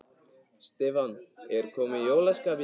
Stefán: Er komið jólaskap í ykkur?